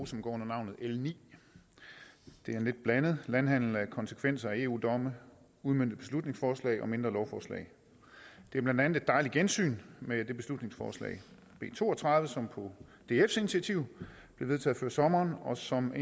som går under navnet l niende det er en lidt blandet landhandel af konsekvenser af eu domme udmøntede beslutningsforslag og mindre lovforslag det er blandt andet et dejligt gensyn med det beslutningsforslag b to og tredive som på dfs initiativ blev vedtaget før sommeren og som